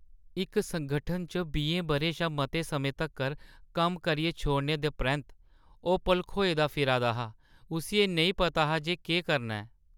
इक संगठन च बीएं बʼरें शा मते समें तक्कर कम्म करियै छोड़ने दे परैंत्त, ओह् भलखोए दा फिरा दा हा, उस्सी एह्‌ नेईं पता हा जे केह्‌ करना ऐ।